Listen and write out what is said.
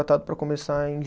para começar em